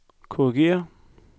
korrigér